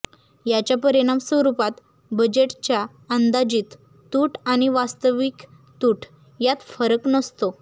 याच्या परिणाम स्वरुपात बजेटच्या अंदाजित तूट आणि वास्तविक तूट यात फरक नसतो